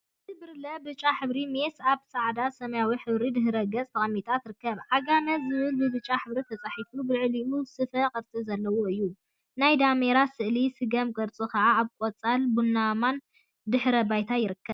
ሓንቲ ብርለ ብጫ ሕብሪ ሜስ አብ ፃዕዳን ሰማያዊን ሕብሪ ድሕረ ገፅ ተቀሚጣ ትርከብ፡፡ ዓጋመ ዝብል ብብጫ ሕብሪ ተፃሒፉ ብልዕሊኡ ስፈ ቅርፂ ዘለዎ እዩ፡፡ ናይ ዳሜራ ስእሊን ስገም ቅርፂ ከዓ አብ ቆፃልን ቡናማን ድሕረ ባይታ ይርከብ፡፡